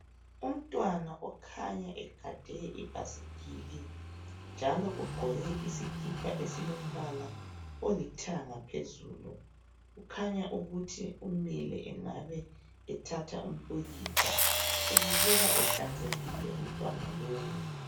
Umntwana okhanya egade ibhasikili njalo ugqoke isikipa esilombala olithanga phezulu kukhanya ukuthi umile engabe ethatha umpikitsha ubukeka ehlanzekile umntwana lowu.